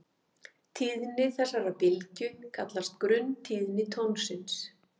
Tíðni þessarar bylgju kallast grunntíðni tónsins.